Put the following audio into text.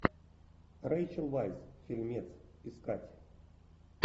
рэйчел вайс фильмец искать